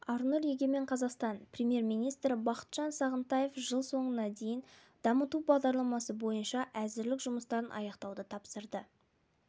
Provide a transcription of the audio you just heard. арнұр егемен қазақстан премьер-министрі бақытжан сағынтаев жыл соңына дейін дамыту бағдарламасы бойынша әзірлік жұмыстарын аяқтауды тапсырды